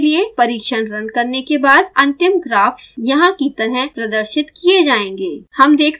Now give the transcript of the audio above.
पर्याप्त समय के लिए परिक्षण रन करने के बाद अंतिम ग्राफ्स यहाँ कि तरह प्रदर्शित किये जायेंगे